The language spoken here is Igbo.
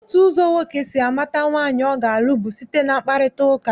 Otu ụzọ nwoke si amata nwaanyị ọ ga-alụ bụ site na mkparịtaụka.